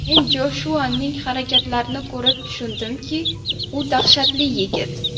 Men Joshuaning harakatlarini ko‘rib tushundimki, u dahshatli yigit.